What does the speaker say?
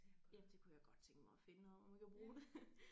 Ja det kunne jeg godt tænke mig at finde noget hvor man kan bruge det